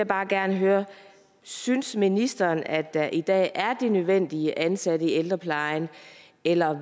bare gerne høre synes ministeren at der i dag er det nødvendige antal ansatte i ældreplejen eller